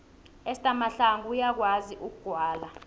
uester mahlangu uyakwazi ukugwala